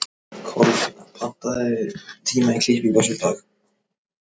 Kolfinna, pantaðu tíma í klippingu á sunnudaginn.